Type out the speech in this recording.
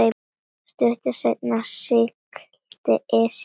Stuttu seinna sigldi Esjan